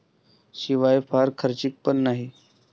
शिवाय फार खर्चिक पण नाही.